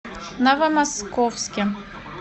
новомосковске